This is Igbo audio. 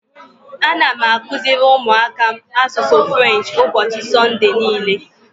Ana m akụziri ụmụaka m asụsụ French ụbọchị Sọnde niile.